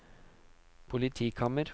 politikammer